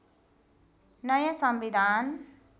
नयाँ संविधान